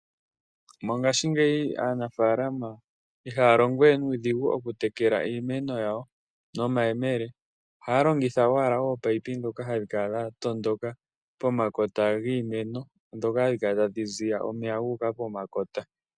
Mongaashingeyi aanafaalama ihaya longo we nuudhigu okutekela iimeno nomayemele, ohaya longitha owala ominino, ndhoka hadhi kala dha tondoka pomakota giimeno ndhoka hadhi kala tadhi ziya omeya gu uka pomakota.